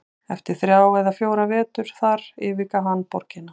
Eftir þrjá eða fjóra vetur þar yfirgaf hann borgina.